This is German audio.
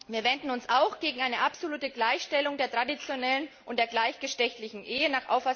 Wir wenden uns auch gegen eine absolute Gleichstellung der traditionellen und der gleichgeschlechtlichen Ehe.